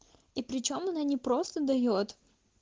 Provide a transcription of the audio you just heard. и причём она не просто даёт